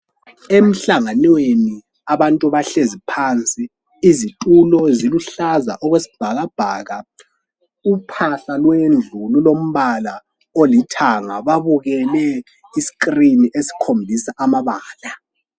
Emhlangweneni abantu bahlezi phansi kule zitulo eziluhlaza okwesbhakabhaka, uphahla lwendlu lulombala olithanga lesikilini esikhombisa amabala.